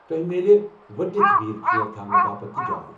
تۄہہ مِیلہِ ؤٹتھ ویٖل چیٛر تھونہٕ باپتھ تہِ جاے۔